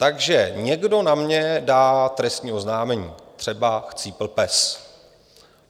Takže někdo na mě dá trestní oznámení, třeba Chcípl pes.